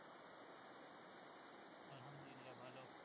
আলহামদুলিল্লা ভালো